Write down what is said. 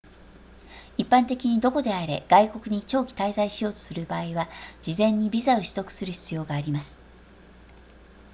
一般的にどこであれ外国に長期滞在しようとする場合は事前にビザを取得する必要があります